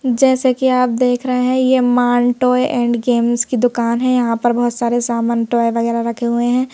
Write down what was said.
जैसा की आप देख रहे हैं ये मांटोय एंड गेम्स की दुकान है यहां पर बहुत सारे सामान टॉय वगैरह रखे हुए हैं।